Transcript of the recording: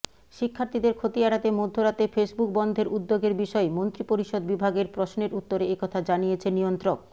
শিক্ষার্থীদের ক্ষতি এড়াতে মধ্যরাতে ফেসবুক বন্ধের উদ্যোগের বিষয়ে মন্ত্রিপরিষদ বিভাগের প্রশ্নের উত্তরে একথা জানিয়েছে নিয়ন্ত্রক